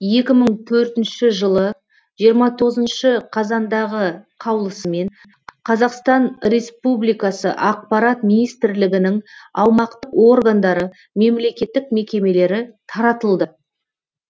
екі мың төртінші жылы жиырма тоғызыншы қазандағы қаулысымен қазақстан республикасы ақпарат министрлігінің аумақтық органдары мемлекеттік мекемелері таратылды